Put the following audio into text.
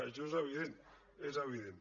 això és evident és evident